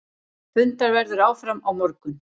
Fundað verður áfram á morgun.